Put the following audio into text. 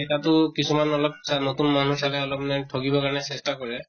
এটাতো কিহুমান অলপ চা নতুন মানুহ চালে অলপ মানে ঠগিব কাৰণে চেষ্টা কৰে